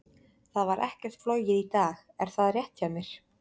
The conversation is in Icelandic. Það var ekkert flogið í dag, er það rétt hjá mér?